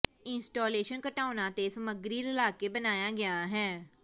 installation ਘਟਾਓਣਾ ਤੇ ਸਮੱਗਰੀ ਰਲਾ ਕੇ ਬਣਾਇਆ ਗਿਆ ਹੈ